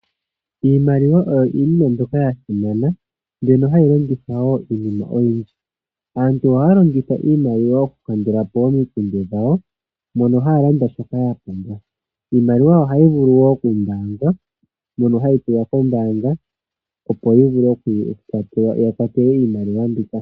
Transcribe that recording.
Iimaliwa oyo iinima mbyoka yasimana, mbyono hayi longithwa wo iinima oyindji. Aantu ohaya longitha iimaliwa okukandula po omikundu dhawo mono haya landa shoka yapumbwa. Iimaliwa ohayi vulu wo okumbaangwa mono hayi tulwa kombaanga ya kwatelwe iimaliwa mbika.